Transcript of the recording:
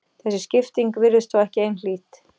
Þessi skipting virðist þó ekki einhlít.